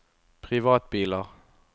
privatbiler